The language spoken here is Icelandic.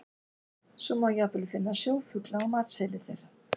Svo má jafnvel finna sjófugla á matseðli þeirra.